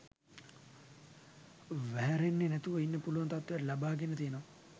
වහැරෙන්නෙ නැතුව ඉන්න පුළුවන් තත්ත්වය ලබාගෙන තියෙනවා